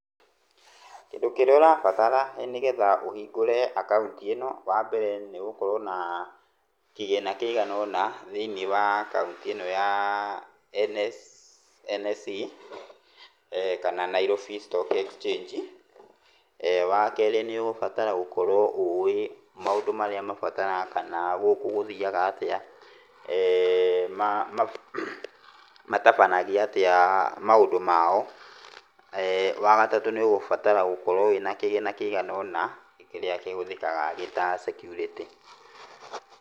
Kĩndũ kĩrĩa ũrabatara nĩgetha ũhingũre akaunti ĩno wambere nĩgũkorwo na kĩgĩna kĩigana ũna, thĩiniĩ wa akaunti ĩno ya NSE kana Nairobi Stock Exchange. Wakerĩ nĩũgũbatara gũkorwo ũĩ maũndũ marĩa mabataraga kana gũkũ gũthiaga atĩa, matabanagia atĩa maũndũ mao. Wagatatũ nĩũgũbatara gũkorwo wĩna kĩgĩna kĩigana ũna, kĩrĩa kĩhũthĩkaga gĩta security.